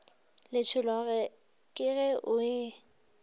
letšhologo ke ge o e